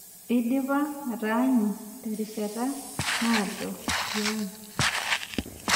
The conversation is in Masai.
Aidipa ataanyu terishata naado tiang'.